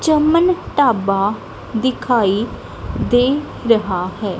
ਚਮਨ ਢਾਬਾ ਦਿਖਾਈ ਦੇ ਰਿਹਾ ਹੈ।